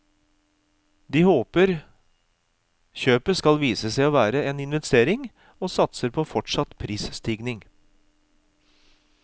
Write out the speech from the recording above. De håper kjøpet skal vise seg å være en investering, og satser på fortsatt prisstigning.